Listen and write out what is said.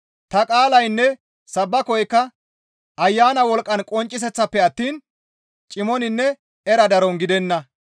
Ta qaalaynne sabbakoykka Ayana wolqqa qoncciseththanpe attiin cimoninne era daron gidenna.